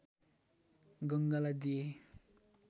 गङ्गालाई दिएँ